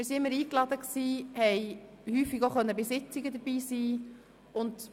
Wir wurden jeweils eingeladen und durften häufig an Sitzungen dabei sein.